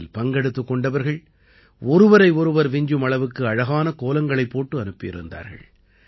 இதில் பங்கெடுத்துக் கொண்டவர்கள் ஒருவரை ஒருவர் விஞ்சும் அளவுக்கு அழகான கோலங்களைப் போட்டு அனுப்பியிருந்தார்கள்